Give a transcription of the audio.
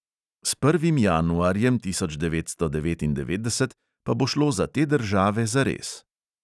S prvim januarjem tisoč devetsto devetindevetdeset pa bo šlo za te države zares.